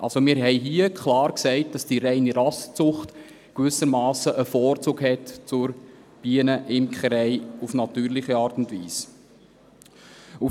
Also, wir haben hier klar gesagt, dass die reine Rassenzucht gewissermassen einen Vorzug gegenüber der Bienenimkerei auf natürliche Art und Weise hat.